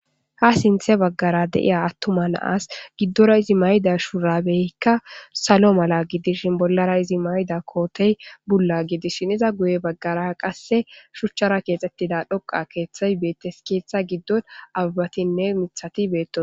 Ha sinthe bagara eqida atuma na'as gidora izi mayida shurabeyka salo mala gidishn bollara mayid kotey bulla gidishn iza guye bagara qase shuchara kexetida hoqa kethay betes , ketha gidon abebatinne mithat betosona.